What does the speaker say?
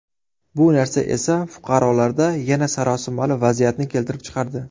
Bu narsa esa fuqarolarda yana sarosimali vaziyatni keltirib chiqardi.